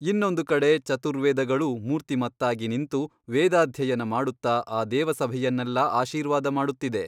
ಇನ್ನೊಂದು ಕಡೆ ಚತುರ್ವೇದಗಳೂ ಮೂರ್ತಿಮತ್ತಾಗಿ ನಿಂತು ವೇದಾಧ್ಯಯನ ಮಾಡುತ್ತ ಆ ದೇವಸಭೆಯನ್ನೆಲ್ಲಾ ಆಶೀರ್ವಾದಮಾಡುತ್ತಿದೆ.